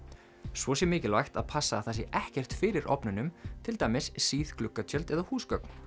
svo sé mikilvægt að passa að það sé ekkert fyrir ofnunum til dæmis síð gluggatjöld eða húsgögn